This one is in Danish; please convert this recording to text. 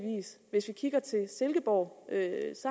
hvis vi kigger til silkeborg